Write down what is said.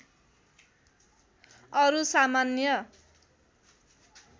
अरु सामान्य